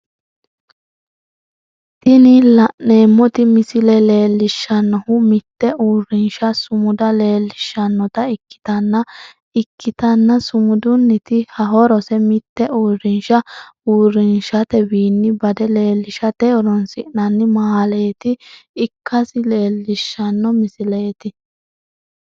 Tinni la'neemoti misile leelishanohu mite uurinsha sumuda leelishanota ikitanna ikitanna sumudunniti horosi mite uurinsha uurinshatewiinni bade leelishate horoonsi'nanni malaate ikasi leelishano misileeti.